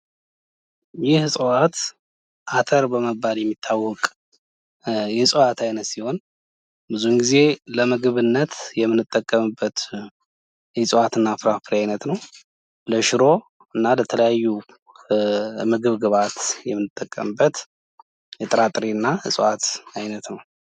ይህ እጽዋት አተር በመባል የሚታወቅ የእጽዋት አይነት ሲሆን ብዙውን ጊዜ ለምግብነት የምንጠቀምበት የእጽዋት እና ፍራፍሬ አይነት ነው። ለሽሮ እና ለተለያዩ ምግብ ግብአት የምንጠቀምበት የጥራጥሬ እና የእጽዋት አይነት ነው።